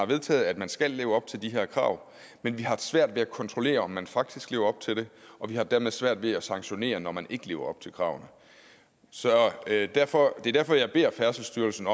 vedtaget at man skal leve op til de her krav men vi har haft svært ved at kontrollere om man faktisk lever op til dem og vi har dermed svært ved at sanktionere når man ikke lever op til kravene det er derfor er derfor jeg beder færdselsstyrelsen